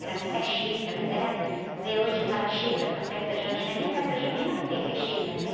Era muita chita, mas era... Vê, hoje fala chita para festa junina, nem festa junina não tem mais chita, né?